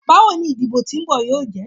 Bawo ni idibo ti nbọ yoo jẹ?